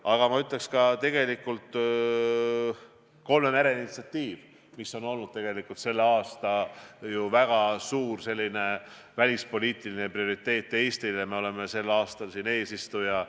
Aga ka kolme mere initsiatiiv on meile tänavu välispoliitiline prioriteet olnud, Eesti on sel aastal seal eesistuja.